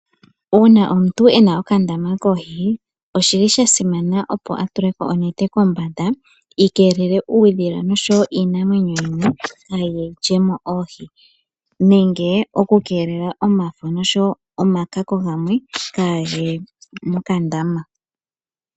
Uuna omuntu ena okandama koohi oshili shasimana opo atule mo onete kombanda yikeelele uudhila noshowo iinamwenyo yimwe kaayi lyemo oohi nenge okukeelela omafo noshowo omakako gamwe kaagaye mokandama.